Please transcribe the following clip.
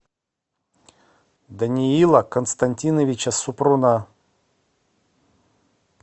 даниила константиновича супруна